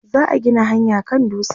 za'a Gina hanyaa kan dutsen